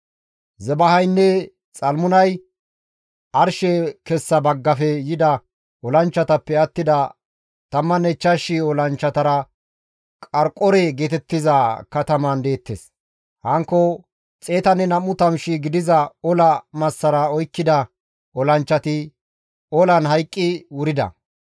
Zebahaynne Xalmunay arshe kessa baggafe yida olanchchatappe attida 15,000 olanchchatara Qariqore geetettiza kataman deettes; hankko 120,000 gidiza ola massara oykkida olanchchati olan hayqqi wurida.